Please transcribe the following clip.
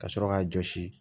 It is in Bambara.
Ka sɔrɔ k'a jɔsi